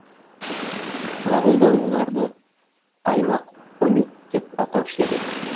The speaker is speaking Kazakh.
мағолдар оларды аймақ онют деп атаушы еді